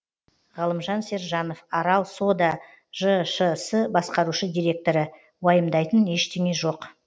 ғалымжан сержанов арал сода жшс басқарушы директоры уайымдайтын ештеңе жоқ